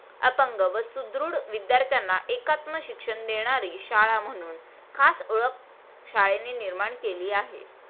अपंग व सुदृढ विध्यार्थ्यांना एकात्म शिक्षण देणारी शाळा म्हणून खास ओळख शाळेने निर्माण केली आहे.